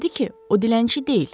Dedi ki, o dilənçi deyil.